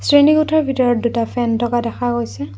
শ্ৰেণীকোঠাৰ ভিতৰত দুটা ফেন থকা দেখা গৈছে।